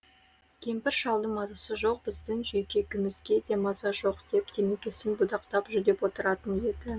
кемпір шалдың мазасы жоқ біздің жүйкемізге де маза жоқ деп темекісін будақтатып жүдеп отыратын еді